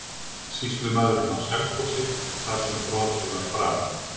Sýslumaðurinn á Selfossi þar sem brotið var framið?